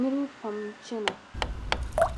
niriba pam n chena